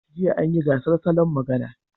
Jiya an yi gasar salon magana.